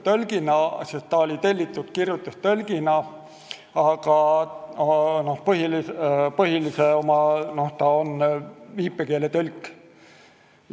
See inimene tuli sinna kirjutustõlgina, sest selleks ta oli tellitud, aga tegelikult on ta viipekeeletõlk.